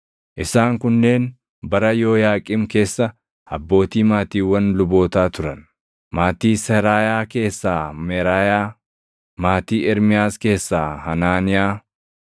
Isaan kunneen bara Yooyaaqiim keessa abbootii maatiiwwan lubootaa turan: Maatii Seraayaa keessaa Meraayaa; maatii Ermiyaas keessaa Hanaaniyaa;